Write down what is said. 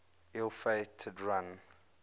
ill fated run